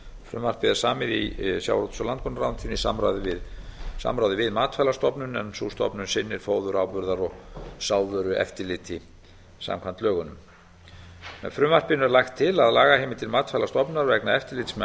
frumvarpið er samið í sjávarútvegs og landbúnaðarráðuneytinu í samráði við matvælastofnun en sú stofnun sinnir fóður áburðar og sáðvörueftirliti samkvæmt lögunum með frumvarpinu er lagt til að lagaheimildir matvælastofnunar vegna eftirlits með